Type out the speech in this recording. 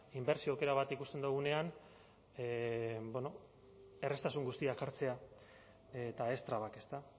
inbertsio aukera bat ikusten dugunean erraztasun guztiak jartzea eta ez trabak ezta